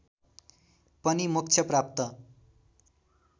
पनि मोक्ष प्राप्त